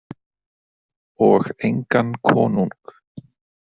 Og engan konung.